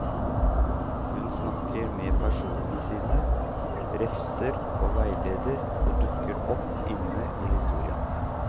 Hun snakker med personene sine, refser og veileder, og dukker opp inne i historien.